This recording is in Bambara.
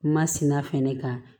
Masina fɛnɛ ka